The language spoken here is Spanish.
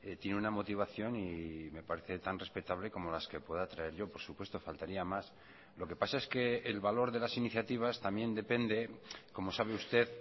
tiene una motivación y me parece tan respetable como las que pueda traer yo por supuesto faltaría más lo que pasa es que el valor de las iniciativas también depende como sabe usted